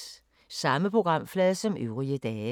Samme programflade som øvrige dage